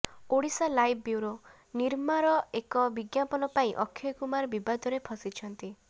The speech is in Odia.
ଓଡ଼ିଶାଲାଇଭ୍ ବ୍ୟୁରୋ ନିର୍ମାର ଏକ ବିଜ୍ଞାପନ ପାଇଁ ଅକ୍ଷୟ କୁମାର ବିବାଦରେ ଫସିଛନ୍ତି